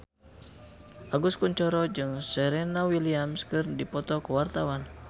Agus Kuncoro jeung Serena Williams keur dipoto ku wartawan